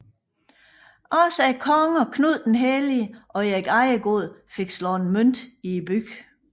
Også kongerne Knud den Hellige og Erik Ejegod fik slået mønt i byen